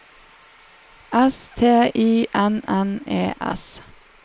S T E I N N E S